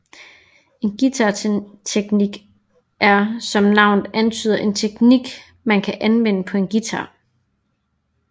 En guitarteknik er som navnet antyder en teknik man kan anvende på en guitar